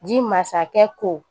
Ji masakɛ ko